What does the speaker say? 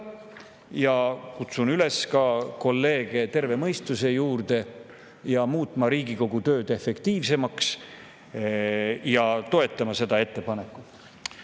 Ma kutsun kolleege üles tervest mõistusest, muutma Riigikogu tööd efektiivsemaks ja toetama seda ettepanekut.